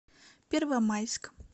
первомайск